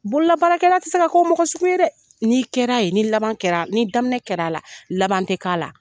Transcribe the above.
Bololabakɛla ti se ka k'o mɔgɔ sugu ye dɛ, ni kɛra ye ni laban kɛra ni daminɛ kɛra a la laban ti k'a la.